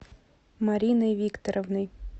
мариной викторовной